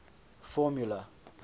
formula